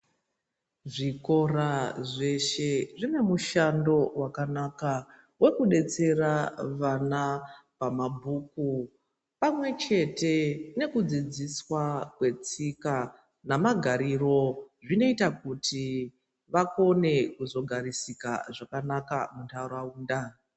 Zvikora zveshe zvine mushando vakanaka vekubetsera vana pamabhuku pamwechete nekudzidziswa kwetika nemagariro. Zvinoita kuti vakone kuzogarisika zvakanaka munharaunda.